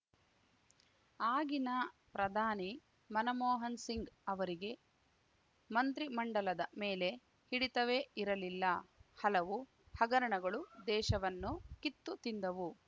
ಆಗಿನ ಪ್ರಧಾನಿ ಮನಮೋಹನ್‌ ಸಿಂಗ್‌ ಅವರಿಗೆ ಮಂತ್ರಿಮಂಡಲದ ಮೇಲೆ ಹಿಡಿತವೇ ಇರಲಿಲ್ಲ ಹಲವು ಹಗರಣಗಳು ದೇಶವನ್ನು ಕಿತ್ತು ತಿಂದವು